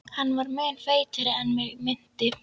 Hann var mun feitari en mig minnti.